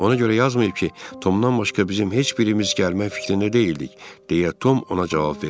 Ona görə yazmayıb ki, Tomdan başqa bizim heç birimiz gəlmək fikrində deyildik, deyə Tom ona cavab verdi.